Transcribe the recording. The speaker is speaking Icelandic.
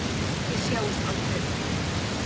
Þið sjáist aldrei framar.